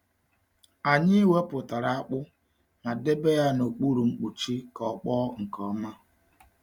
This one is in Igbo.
Anyị wepụtara akpụ ma debe ya n’okpuru mkpuchi ka ọ kpọọ nke ọma.